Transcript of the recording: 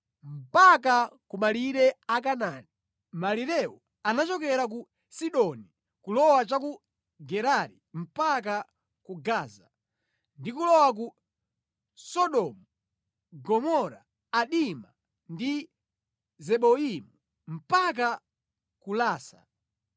mpaka ku malire a Kanaani. Malirewo anachokera ku Sidoni kulowa cha ku Gerari mpaka ku Gaza, ndi kulowa ku Sodomu, Gomora, Adima ndi Zeboimu mpaka ku Lasa.